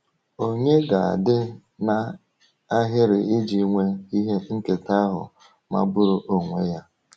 Ònye ga-adị n’ahịrị iji nwee ihe nketa ahụ magburu onwe ya?